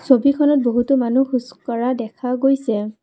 ছবিখনত বহুতো মানুহ খোজকঢ়া দেখা গৈছে।